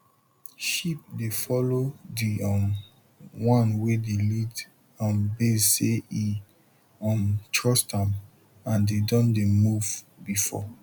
sheep dey follow the um one wey de lead am base say e um trust am and dem don dey move before